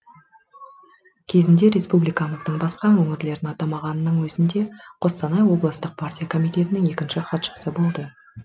кезінде республикамыздың басқа өңірлерін атамағанның өзінде қостанай облыстық партия комитетінің екінші хатшысы болды